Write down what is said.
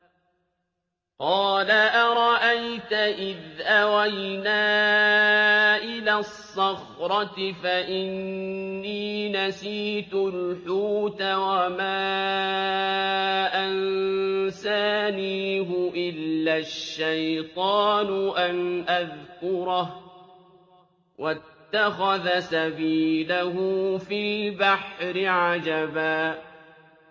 قَالَ أَرَأَيْتَ إِذْ أَوَيْنَا إِلَى الصَّخْرَةِ فَإِنِّي نَسِيتُ الْحُوتَ وَمَا أَنسَانِيهُ إِلَّا الشَّيْطَانُ أَنْ أَذْكُرَهُ ۚ وَاتَّخَذَ سَبِيلَهُ فِي الْبَحْرِ عَجَبًا